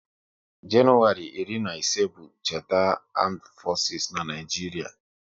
Januwari iri na ise bụ cheta Amdu fosis n'Naijiria